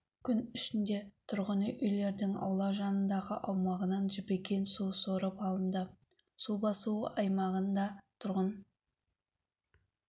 күн ішінде тұрғын үйлердің аула жанындағы аумағынан жібіген су сорып алынды су басу аймағында тұрғын